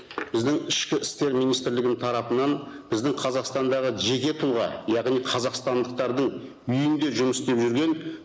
біздің ішкі істер министрлігінің тарапынан біздің қазақстандағы жеке тұлға яғни қазақстандықтардың үйінде жұмыс істеп жүрген